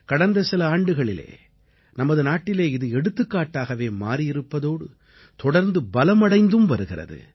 கடந்த சில ஆண்டுகளில் நமது நாட்டிலே இது எடுத்துக்காட்டாகவே மாறி இருப்பதோடு தொடர்ந்து பலம் அடைந்தும் வருகிறது